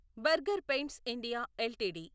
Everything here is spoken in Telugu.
burger paints India LTD